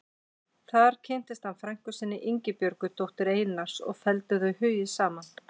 Þar kynntist hann frænku sinni, Ingibjörgu, dóttur Einars og felldu þau hugi saman.